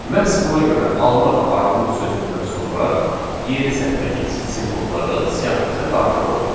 Məhz buna görə alma və armud sözündən sonra yeni sətrə keçid simvolları siyahımıza daxil olur.